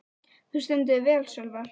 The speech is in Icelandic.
Þú stendur þig vel, Sölvar!